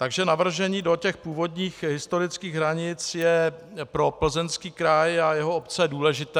Takže navržení do těch původních historických hranic je pro Plzeňský kraj a jeho obce důležité.